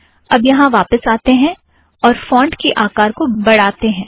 अब यहाँ वापस आते हैं और फ़ोंट की आकार को बढ़ातें हैं